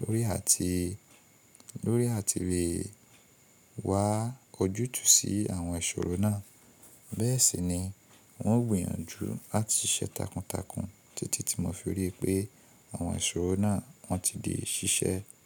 lórí àti, lórí àti bí wá ojútùú sí àwọn ìṣòro náà. Bẹ́ẹ̀ sì ni n ó gbìyànjú láti ṣe takuntakun títí tí mo fi rí i pé àwọn ìṣòro náà wọ́n ti di ṣíṣẹ́.